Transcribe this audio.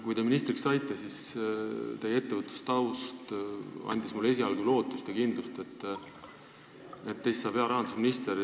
Kui te ministriks saite, siis teie ettevõtlustaust andis mulle esialgu lootust ja kindlust, et teist saab hea rahandusminister.